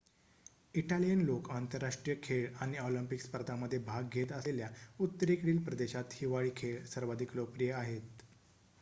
Italian लोकं आंतरराष्ट्रीय खेळ आणि ऑलिम्पिक स्पर्धांमध्ये भाग घेत असलेल्या उत्तरेकडील प्रदेशात हिवाळी खेळ सर्वाधिक लोकप्रिय आहेत